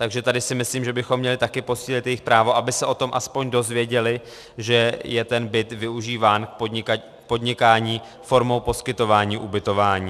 Takže tady si myslím, že bychom měli taky posílit jejich právo, aby se o tom aspoň dozvěděli, že je ten byt využíván k podnikání formou poskytování ubytování.